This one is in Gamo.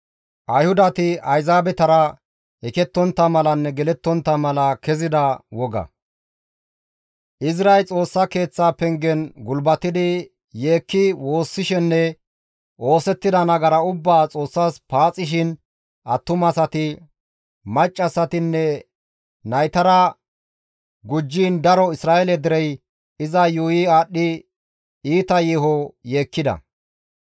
Izray Xoossa Keeththa pengen gulbatidi yeekki woossishenne oosettida nagara ubbaa Xoossas paaxishin attumasati, maccassatinne naytara gujjiin daro Isra7eele derey iza yuuyi aadhdhi iita yeeho yeekkida.